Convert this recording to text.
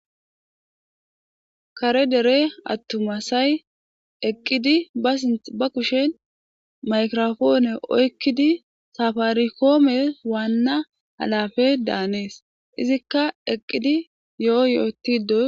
Kare dere attuma asayi eqqidi ba sinththe ba kushen mayigrapone oyikkidi saffaricome wanna alappe daanes izika eqqidi yoo yottido .